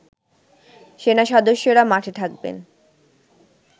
সেনা সদস্যরা মাঠে থাকবেন